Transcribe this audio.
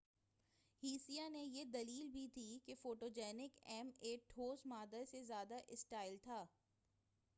ہسیہ نے یہ دلیل بھی دی کہ فوٹوجنک ایم اے ٹھوس مادہ سے زیادہ اسٹائل تھا